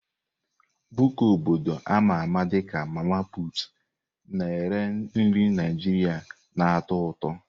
Buka obodo a ma ama dị ka "mama-put" na-ere nri Naijiria na-atọ ụtọ.